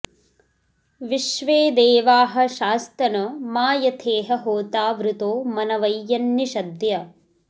विश्वे देवाः शास्तन मा यथेह होता वृतो मनवै यन्निषद्य